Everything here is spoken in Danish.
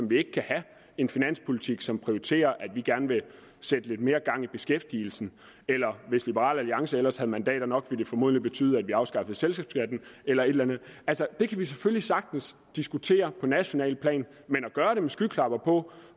vi ikke kan have en finanspolitik som prioriterer at vi gerne vil sætte lidt mere gang i beskæftigelsen eller hvis liberal alliance ellers havde mandater nok ville det formodentlig betyde at vi afskaffede selskabsskatten eller et eller andet altså det kan vi selvfølgelig sagtens diskutere på nationalt plan men at gøre det med skyklapper på